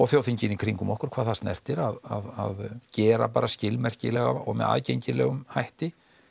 þjóðþingin í kringum okkur hvað það snertir að gera bara skilmerkilega og með aðgengilegum hætti